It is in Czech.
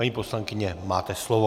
Paní poslankyně, máte slovo.